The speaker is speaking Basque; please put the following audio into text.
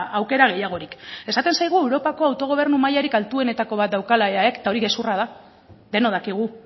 aukera gehiagorik esaten zaigu europako autogobernu mailarik altuenetako bat daukala eaek eta hori gezurra da denok dakigu